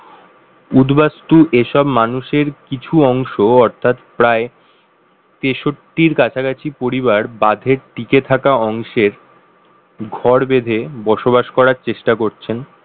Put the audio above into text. উদ্বাস্তু এসব মানুষের কিছু অংশ অর্থাৎ প্রায় তেষট্টির কাছাকাছি পরিবার বাঁধের টিকে থাকা অংশের ঘর বেঁধে বসবাস করার চেষ্টা করছেন